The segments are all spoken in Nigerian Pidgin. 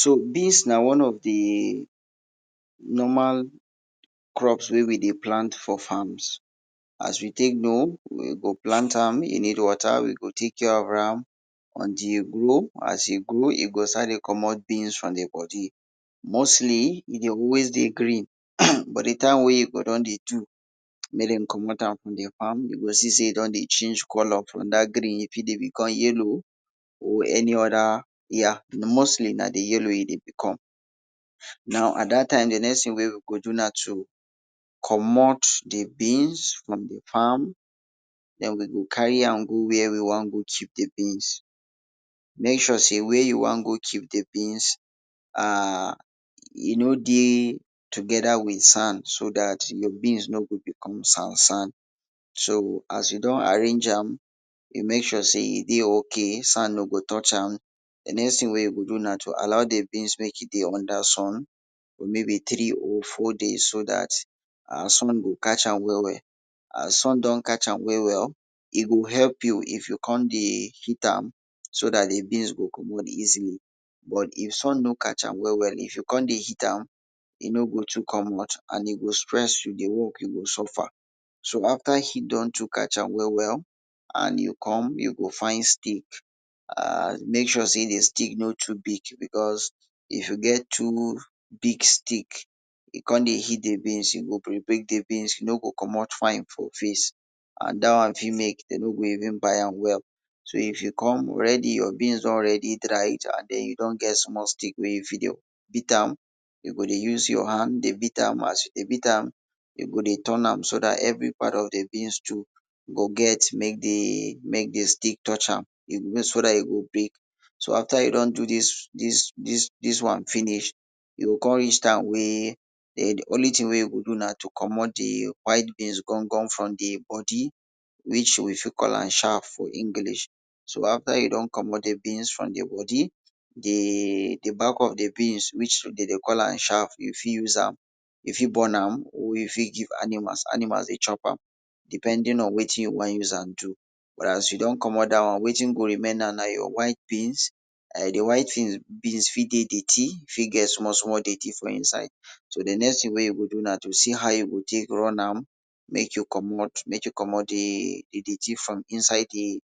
So dis na one of di normal things wey we dey plant for farm to tek know we go tek care of am as e grow as e grow e go start dey commot from di bodi. Mostly e dey always dey green but di time wey e for don dey do, mey dem cmmot am from farm de go see sey e don dey change color because e yelloe mostly na di yellow e dey become. At dat time di next thing wey we go do na to cmmot di beans from di farm den de go crry am go were you won go to mek sure sey where you won go to e no d ey together with sand so dat di beans no go become sand sand. So as you don arrange am, you mek sure s ey di beans no go you mek sure sey e dey ok sand no go touch am. Di next thing wey you go do na to alow di beans mek e dey under sun maybe three of four days so dat sun go catch am well wel, as sun don catch am well well, e go help you if you kon dey heat am, so dat di go commot easily but if sun no catch am well well if you kon dey heat am, e no go too commot. So after e don too catch am well wel, and e come you go find stick and mek sure sey di stick no too big because if you get too big stick e kon dey heat di beans, e go break di beans e no go commot fine for face and dart one fit mek de no go even buy am well so if you kon your beans don already dry well, den you don get small stick wen you fit dey beat am you go dey use your hand dey beat am as you dey beat am, you go dey use part of your hand dey beat am you go dey turn am so dat very part of d beans mek di stick touch am. So after you don do dis wwan finish, only thing wen you go do na to commot di white things for di bodi which we fit call am shaft. So after you don commot di beans from di bodi di back of di bodi de dey call am shaft, you fit burn am, you fit give animal depending on wetin you dey use am do, but as you don commot dat won weti go remain na your white beans, di white beans fit dey dirty fit get small small dirty for inside di next thing wey you go do na to see how you o tek run am, mek you commot mek you commot di dirty from inside di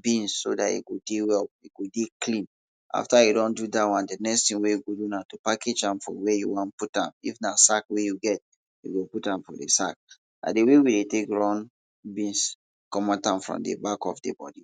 beans so dat e go dey well e go dey cleana. After you don do dat won, di next thng wey you go do na to package am if na sac wey you get, put am for sac like di way wey e tek run beans commot am from di back of di bodi.